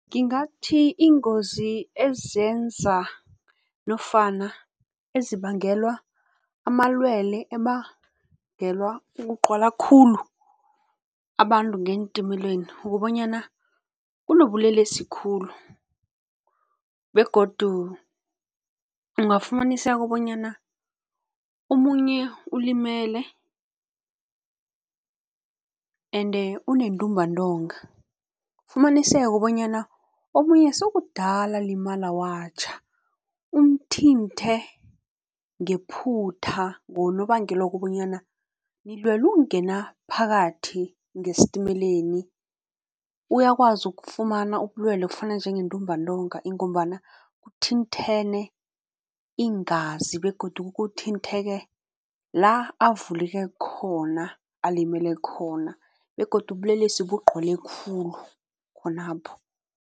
Ngingathi ingozi ezenza nofana ezibangela amalwele ebangelwa ukugcwala khulu abantu ngeentimeleni kukobanyana kunobulelesi khulu begodu ungafumaniseko bonyana omunye ulimele ende unentumbantonga. Ufumaniseka bonyana omunye sekukudala alimala watjha, umthinthe ngephutha ngonobangela wokobanyana nilwela ukungena phakathi ngesitimeleni. Uyakwazi ukufumana ubulwelwe obufana njengentumbantonga ingombana kuthinthene iingazi begodu kuthintheke la avuleke khona, alimale khona begodu ubulelesi bugcwele khulu khonapho.